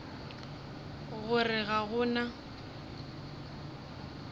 go re ga go na